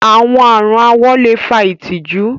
Awọn arùn awọ̀ le fà ìtìjú.